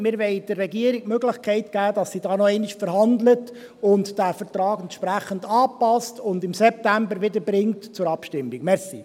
Wir wollen der Regierung die Möglichkeit geben, dass sie da noch einmal verhandelt, den Vertrag entsprechend anpasst und ihn im September wieder zur Abstimmung bringt.